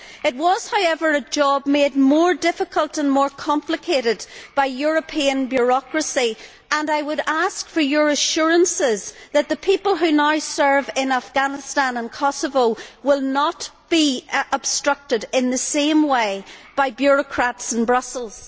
It was, however, a job made more difficult and more complicated by European bureaucracy and I would ask for your assurances that the people who now serve in Afghanistan and Kosovo will not be obstructed in the same way by bureaucrats in Brussels.